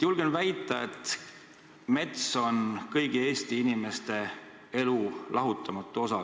Julgen väita, et mets on kõigi Eesti inimeste elu lahutamatu osa.